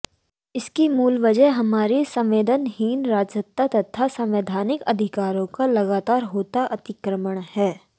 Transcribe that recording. इसकी मूल वजह हमारी संवेदनहीन राजसत्ता तथा संवैधानिक अधिकारों का लगातार होता अतिक्रमण है